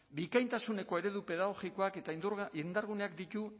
bikaintasuneko eredu pedagogikoak eta indarguneak ditu